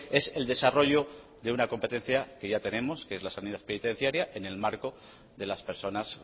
es el desarrollo de una competencia que ya tenemos que es la sanidad penitenciaria en el marco de las personas